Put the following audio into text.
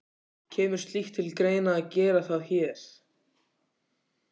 Kemur slíkt til greina að gera það hér?